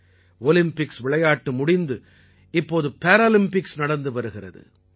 Olympics விளையாட்டு முடிந்து இப்போது பேராலிம்பிக்ஸ் நடந்து வருகிறது